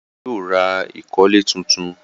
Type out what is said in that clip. Ìyá rẹ̀ yóò ra ìkọ́lẹ̀ tuntun.